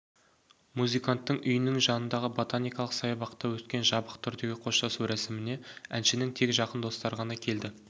музыканттың үйінің жанындағы ботаникалық саябақта өткен жабық түдегі қоштасу рәсіміне әншінің тек жақын достары ғана келді